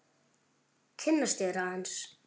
Kynnast þér aðeins.